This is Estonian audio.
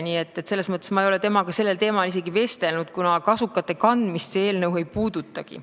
Nii et ma ei ole temaga sellel teemal isegi vestelnud, kuna kasukate kandmist see eelnõu ei puudutagi.